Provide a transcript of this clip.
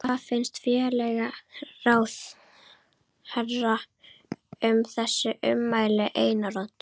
Hvað finnst félagsmálaráðherra um þessi ummæli Einars Odds?